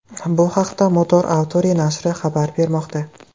Bu haqda Motor Authority nashri xabar bermoqda .